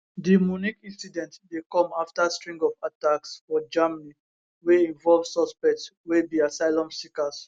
di munich incident dey come afta string of attacks for germany wey involve suspects wey be asylum seekers